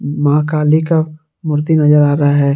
मां काली का मूर्ति नजर आ रहा है।